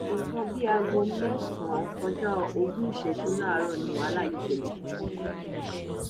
nǹkan bíi aago mẹsànán kọjá ogún ìṣẹjú láàárọ ni wàhálà yìí ṣẹlẹ